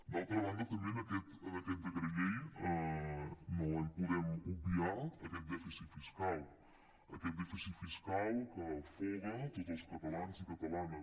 d’altra banda també en aquest decret llei no podem obviar aquest dèficit fiscal aquest dèficit fiscal que afoga tots els catalans i catalanes